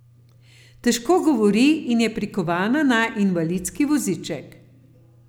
Težko govori in je prikovana na invalidski voziček.